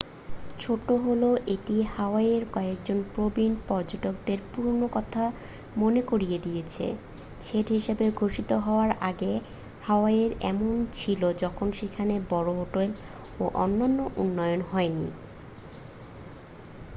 ছোট হলেও এটি হাওয়াইয়ের কয়েকজন প্রবীণ পর্যটকদের পুরনো কথা মনে করিয়ে দিয়েছে স্টেট হিসাবে ঘোষিত হওয়ার আগে হাওয়াই এমনই ছিল যখন সেখানে বড় হোটেল ও অন্যান্য উন্নয়ন হয়নি